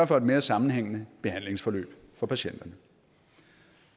for et mere sammenhængende behandlingsforløb for patienterne og